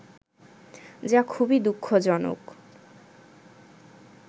যা খুবই দুঃখজনক